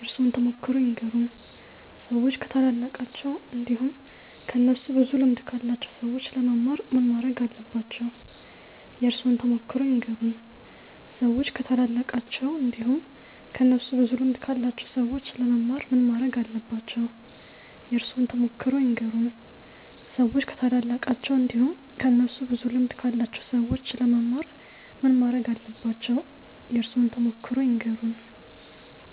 የእርሶን ተሞክሮ ይንገሩን? ሰዎች ከታላላቃቸው እንዲሁም ከእነሱ ብዙ ልምድ ካላቸው ሰዎች ለመማር ምን ማረግ አለባቸው? የእርሶን ተሞክሮ ይንገሩን? ሰዎች ከታላላቃቸው እንዲሁም ከእነሱ ብዙ ልምድ ካላቸው ሰዎች ለመማር ምን ማረግ አለባቸው? የእርሶን ተሞክሮ ይንገሩን? ሰዎች ከታላላቃቸው እንዲሁም ከእነሱ ብዙ ልምድ ካላቸው ሰዎች ለመማር ምን ማረግ አለባቸው? የእርሶን ተሞክሮ ይንገሩን?